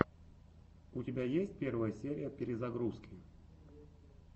у тебя есть первая серия перезагрузки